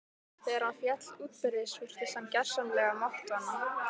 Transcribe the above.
Þegar hann féll útbyrðis virtist hann gersamlega máttvana.